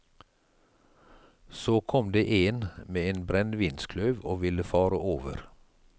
Så kom det én med en brennevinskløv og ville fare over.